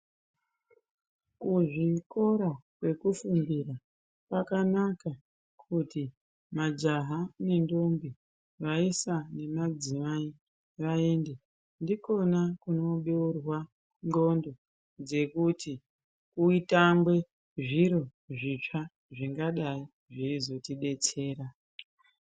Kuzvikora kwekufundira kwakanaka kuti majaha nendombi, vaisa nemadzimai vaende. Ndikona kunobeurwa ndxondo dzekuti kutangwe zviro zvitsva zvingadayi zveizotidetsera.